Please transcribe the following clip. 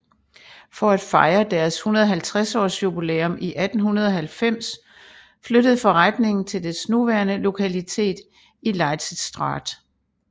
For at fejre deres 150 års jubilæum i 1890 flyttede forretningen til dets nuværende lokalitet i Leidsestraat